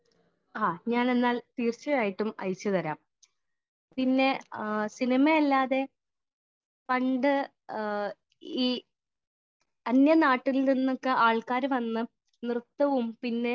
Speaker 1 ആ ഞാൻ എന്നാൽ തീർച്ചയായിട്ടും അയച്ചു തരാം. പിന്നെ സിനിമ അല്ലാതെ പണ്ട് ഈ അന്യനാട്ടിൽ നിന്നൊക്കെ ആൾക്കാർ വന്ന് നൃത്തവും പിന്നെ